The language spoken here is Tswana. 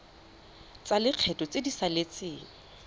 tsa lekgetho tse di saletseng